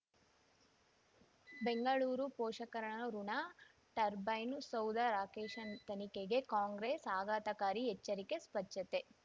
ಬೆಂಗಳೂರು ಪೋಷಕರಋಣ ಟರ್ಬೈನು ಸೌಧ ರಾಕೇಶ್ ತನಿಖೆಗೆ ಕಾಂಗ್ರೆಸ್ ಆಘಾತಕಾರಿ ಎಚ್ಚರಿಕೆ ಸ್ವಚ್ಛತೆ